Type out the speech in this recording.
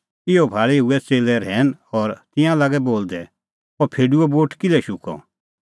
इहअ भाल़ी हुऐ च़ेल्लै रहैन और तिंयां लागै बोलदै अह फेडूओ बूट किल्है शुक्कअ